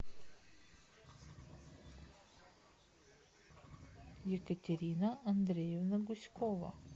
екатерина андреевна гуськова